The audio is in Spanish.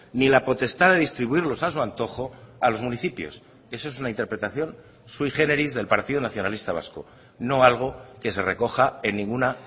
ni la potestad de distribuirlos a su antojo a los municipios eso es una interpretación sui géneris del partido nacionalista vasco no algo que se recoja en ninguna